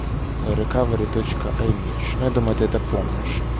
рекавери точка аймич ну я думаю ты это помнишь